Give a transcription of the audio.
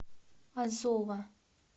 азова